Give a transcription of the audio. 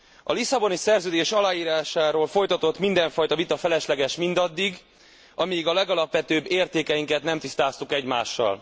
A Lisszaboni Szerződés aláírásáról folytatott mindenfajta vita felesleges mindaddig, amíg a legalapvetőbb értékeinket nem tisztáztuk egymással.